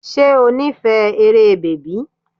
Ṣé o nífẹ̀ẹ́ eré bèbí?